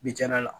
Bi janya la